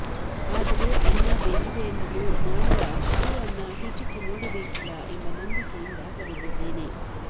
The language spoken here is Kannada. ಆದರೆ ಅನ್ನ ಬೆಂದಿದೆ ಎನ್ನಲು ಮಾಡಿದ ಅಷ್ಟೂ ಅನ್ನ ಹಿಚಕಿ ನೋಡಬೇಕಿಲ್ಲ ಎಂಬ ನಂಬಿಕೆಯಿಂದ ಬರಿದಿದ್ದೇನೆ